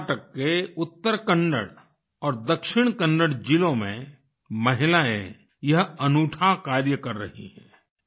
कर्नाटक के उत्तर कन्नड़ और दक्षिण कन्नड़ जिलों में महिलाएं यह अनूठा कार्य कर रही हैं